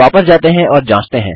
वापस जाते हैं और जाँचते हैं